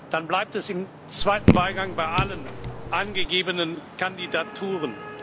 Dann bleibt es im zweiten Wahlgang bei allen angegebenen Kandidaturen.